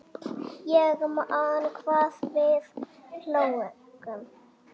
Ég man hvað við hlógum.